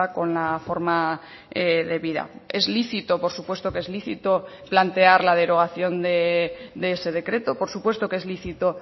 con la forma debida es lícito por supuesto que es lícito plantear la derogación de ese decreto por supuesto que es lícito